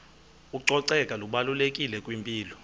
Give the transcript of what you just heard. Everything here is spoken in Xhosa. ucoceko lubalulekile kwimpilo